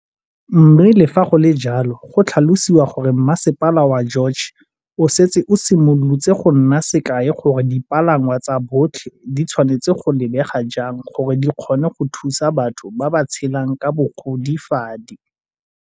Mme le fa go le jalo go tlhalosiwa gore Masepala wa George o setse o simolotse go nna sekai gore dipalangwa tsa botlhe di tshwanetse go lebega jang gore di kgone go thusa batho ba ba tshelang ka bogodi fadi.